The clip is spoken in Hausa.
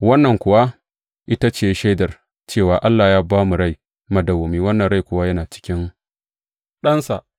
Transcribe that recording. Wannan kuwa ita ce shaidar; cewa Allah ya ba mu rai madawwami, wannan rai kuwa yana cikin Ɗansa.